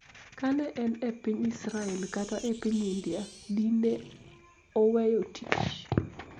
ka ne en e piny Israel kata e piny India, dine oweyo tich.